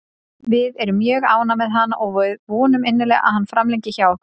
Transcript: Við erum mjög ánægðir með hann og við vonum innilega að hann framlengi hjá okkur.